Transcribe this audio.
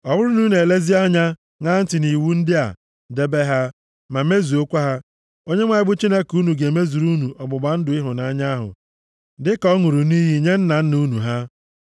Ọ bụrụ na unu elezie anya, ṅaa ntị nʼiwu ndị a, debe ha, ma mezuokwa ha, Onyenwe anyị bụ Chineke unu ga-emezuru unu ọgbụgba ndụ ịhụnanya ahụ dịka ọ ṅụrụ nʼiyi nye nna nna unu ha.